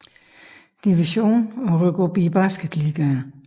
Division og rykke op i Basketligaen